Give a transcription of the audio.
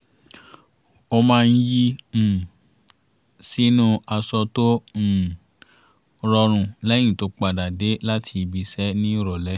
ó maá ń yí um sínú aṣọ tó um rọrùn lẹ́yìn tó padà dé láti ibi iṣẹ́ ní ìrọ̀lẹ́